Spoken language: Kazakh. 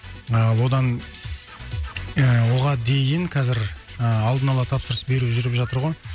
ы одан ыыы оған дейін қазір ыыы алдын ала тапсырыс беру жүріп жатыр ғой